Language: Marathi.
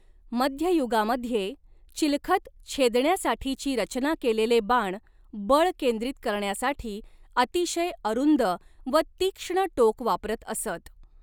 मध्ययुगामध्ये चिलखत छेदण्यासाठीची रचना केलेले बाण बळ केंद्रित करण्यासाठी अतिशय अरूंद व तीक्ष्ण टोक वापरत असत.